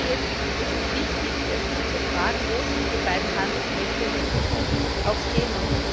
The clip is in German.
Jetzt ist es wichtig, sich zu fragen, wo sich die beiden Handelsmächte in der Zukunft auch sehen.